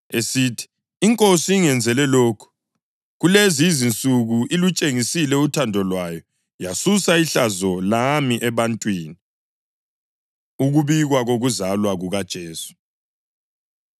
esithi, “INkosi ingenzele lokhu. Kulezi insuku ilutshengisile uthando Lwayo yasusa ihlazo lami ebantwini.” Ukubikwa Kokuzalwa KukaJesu